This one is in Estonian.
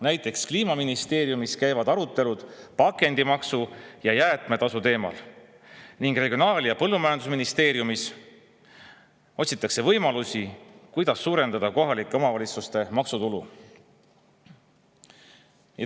Näiteks Kliimaministeeriumis käivad arutelud pakendimaksu ja jäätmetasu teemal ning Regionaal- ja Põllumajandusministeerium otsib võimalusi, kuidas suurendada kohalike omavalitsuste maksutulu.